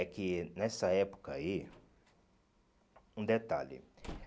É que nessa época aí, um detalhe,